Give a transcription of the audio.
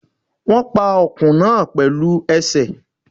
Wón pa ọkùn náà pẹ̀lú ẹsẹ̀